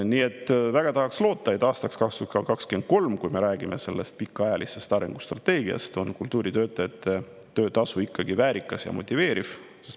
Nii et väga tahaks loota, et aastaks, kui me räägime sellest pikaajalisest arengustrateegiast, on kultuuritöötajate töötasu ikkagi väärikas ja motiveeriv.